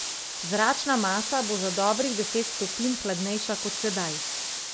Zračna masa bo za dobrih deset stopinj hladnejša kot sedaj.